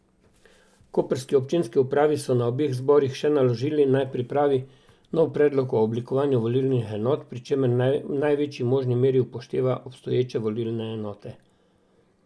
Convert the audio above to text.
Koprski občinski upravi so na obeh zborih še naložili, naj pripravi nov predlog o oblikovanju volilnih enot, pri čemer naj v največji možni meri upošteva obstoječe volilne enote.